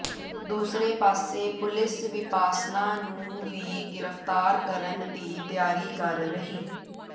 ਦੂਸਰੇ ਪਾਸੇ ਪੁਲਿਸ ਵਿਪਾਸਨਾ ਨੂੰ ਵੀ ਗ੍ਰਿਫਤਾਰ ਕਰਨ ਦੀ ਤਿਆਰੀ ਕਰ ਰਹੀ